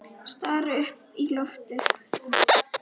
Stari upp í loftið.